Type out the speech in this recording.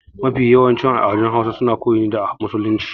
Mafi yawancin al'adun Hausawa suna koyi ne da musulunci.